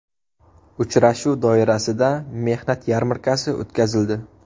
Uchrashuv doirasida mehnat yarmarkasi o‘tkazildi.